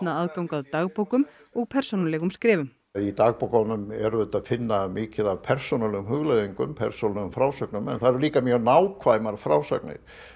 aðgang að dagbókum og persónulegum skrifum í dagbókunum er auðvitað að finna mikið af persónulegum hugleiðingum persónulegum frásögnum en þar eru líka mjög nákvæmar frásagnir